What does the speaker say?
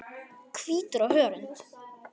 Hvítur á hörund.